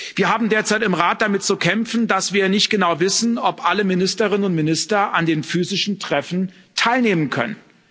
Wir haben derzeit im Rat damit zu kämpfen, dass wir nicht genau wissen, ob alle Ministerinnen und Minister an den physischen Treffen teilnehmen können.